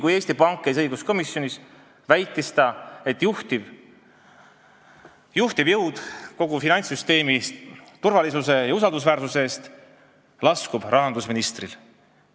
Kui Eesti Panga esindaja käis õiguskomisjonis, siis väitis ta, et juhtiv roll kogu finantssüsteemis turvalisuse ja usaldusväärsuse eest vastutamisel on rahandusministril.